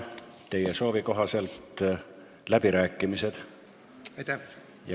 Teie soovi korral avan läbirääkimised.